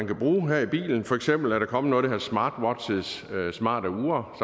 kan bruge i bilen for eksempel er der kommer noget der hedder smartwatches smarte ure